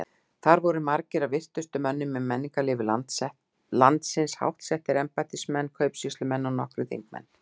Þar voru margir af virtustu mönnum í menningarlífi landsins, háttsettir embættismenn, kaupsýslumenn og nokkrir þingmenn.